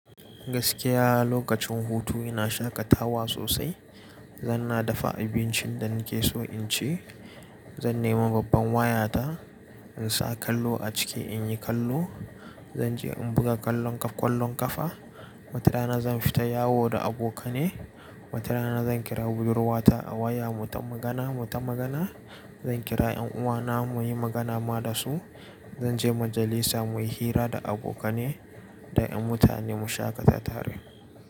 Gaskiya lokacin hutu ina shaƙatawa sosai. Zan na dafa abincin da nike so in ci, zan nema babban wayata, in sa kallo a ciki in yi kallo, zan je in buga kallon ka ƙwallon ƙafa. Wata rana zan fita yawo da abokane. Wata rana zan kira budurwata a waya mu ta magana mu ta magana. Zan kira 'yan uwana muyi magana ma da su. Zan je majalisa muyi hira da abokane da 'yan mutane mu shaƙata tare.